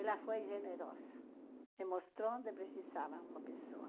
Ela foi generosa e mostrou onde precisava uma pessoa.